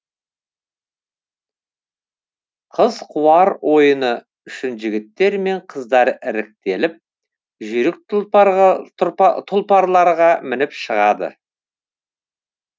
қыз қуар ойыны үшін жігіттер мен қыздар іріктеліп жүйрік тұлпарларға мініп шығады